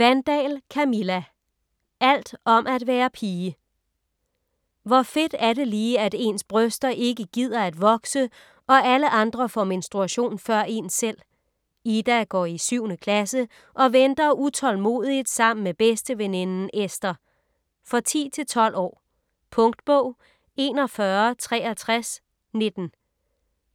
Wandahl, Camilla: Alt om at være pige Hvor fedt er det lige, at ens bryster ikke gider at vokse og alle andre får menstruation før en selv? Ida går i 7. klasse og venter utålmodigt sammen med bedsteveninden Esther. For 10-12 år. Punktbog 416319